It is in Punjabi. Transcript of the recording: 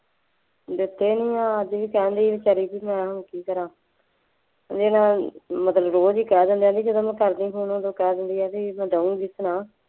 ਦਿੱਤੇ ਨਹੀਂ ਹੈ ਅੱਜ ਵੀ ਕਹਿਣ ਦੇ ਸੀ ਬੇਚਾਰੀ ਕਿ ਮੈਂ ਹੁਣ ਕੀ ਕਰਾਂ, ਉਹਦੇ ਨਾਲ ਮਤਲਬ ਰੋਜ਼ ਹੀ ਕਹਿ ਦਿੰਦੇ ਹੈ ਬਈ ਜਦੋਂ ਮੈਂ ਕਰਦੀ ਫੋਨ ਉਦੋਂ ਕਹਿ ਦਿੰਦੀ ਹੈ ਬਈ ਮੈਂ ਦੇਊਂਗੀ ਨਾ,